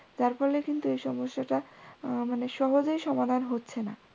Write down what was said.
যার ফলে কিন্তু এই সমস্যাটা মানে সহজেই সমাধান হচ্ছে না।